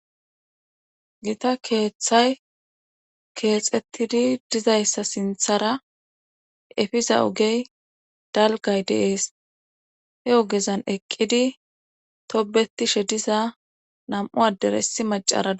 gita keeththay keexettidi dizayssa sinthara efiza ogey dalgay deees he ogezan eqqidi tobetishe diza nam7u adere issi macara